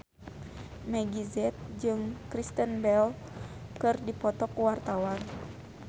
Meggie Z jeung Kristen Bell keur dipoto ku wartawan